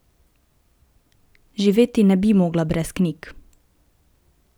Živeti ne bi mogla brez knjig.